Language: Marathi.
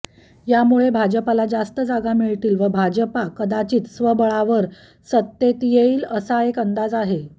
यामुळे भाजपाला जास्त जागा मिळतील व भाजपा कदाचित स्वबळावर सत्तेत येईल असा एक अंदाज आहे